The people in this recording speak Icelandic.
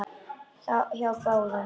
Hjá báðum.